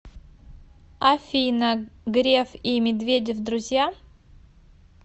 афина греф и медведев друзья